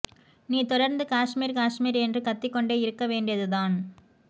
நீ தொடர்ந்து காஷ்மீர் காஷ்மீர் என்று கத்திகொண்டே இருக்க வேண்டியது தான்